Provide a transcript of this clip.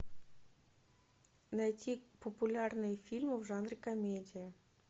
найти популярные фильмы в жанре комедия